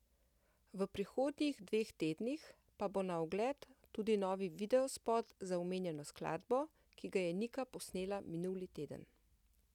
V prihodnjih dveh tednih pa bo na ogled tudi novi videospot za omenjeno skladbo, ki ga je Nika posnela minuli teden.